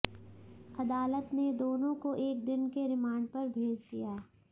अदालत ने दोनों को एक दिन के रिमांड पर भेज दिया